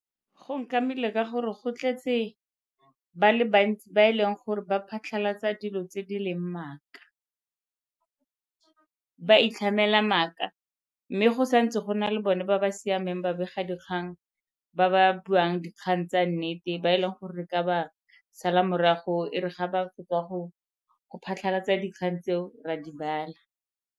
Go nkamile ka gore go tletse ba le bantsi ba e leng gore ba phatlhalatsa dilo tse di leng maaka. Ba itlhamela maaka mme go sa ntse go na di le bone ba ba siameng babegadikgang ba ba buang dikgang tsa nnete ba e leng gore re ka ba sala morago e re ga ba fetsa go phatlhalatsa dikgang tseo ra di bala.